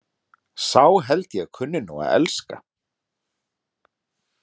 Sá held ég kunni nú að elska!